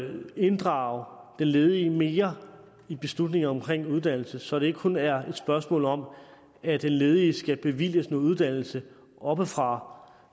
inddrage den ledige mere i beslutninger omkring uddannelse så det ikke kun er et spørgsmål om at den ledige skal bevilges uddannelse oppefra